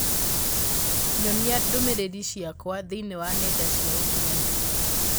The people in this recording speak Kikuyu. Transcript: nyonia ndũmĩrĩri ciakwa thĩinĩ wa nenda cia ũkĩnyaniria